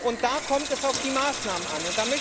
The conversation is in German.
Und da kommt es auf die Maßnahmen an.